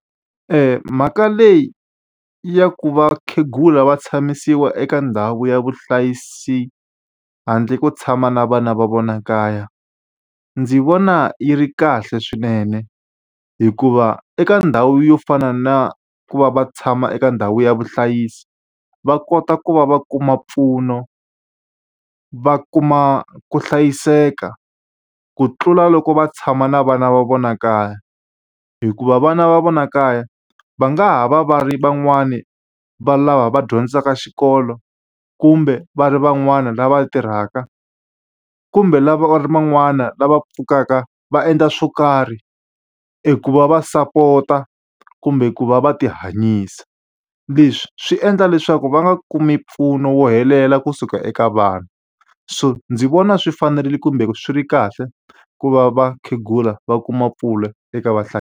Mhaka leyi ya ku va vakhegula va tshamisiwa eka ndhawu ya vuhlayiseki handle to tshama na vana va vona kaya, ndzi vona yi ri kahle swinene. Hikuva eka ndhawu yo fana na ku va va tshama eka ndhawu ya vuhlayisi, va kota ku va va kuma mpfuno, va kuma ku hlayiseka kutlula loko va tshama na vana va vona kaya. Hikuva vana va vona kaya, va nga ha va va ri va ri van'wani va lava va dyondzaka xikolo, kumbe va ri van'wana lava tirhaka, va ri van'wana lava va pfukaka va endla swin'wana ku va va support-a kumbe ku va va ti hanyisa. Leswi swi endla leswaku va nga kumi mpfuno lowo helela kusuka eka vanhu. So ndzi vona swi fanerile kumbe swi ri kahle ku va vakhegula va kuma mpfuno eka .